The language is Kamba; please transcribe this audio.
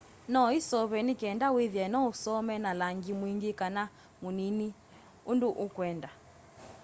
no iseuvwe ni kinda withie no usome na langi mwingi kana munini undu ukwenda